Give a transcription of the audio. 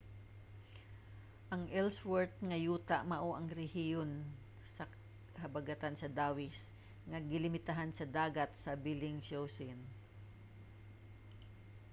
ang ellsworth nga yuta mao ang rehiyon sa habagatan sa dawis nga gilimitahan sa dagat sa bellingshausen